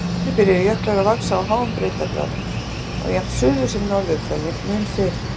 Þannig byrjuðu jöklar að vaxa á háum breiddargráðum á jafnt suður- sem norðurhveli mun fyrr.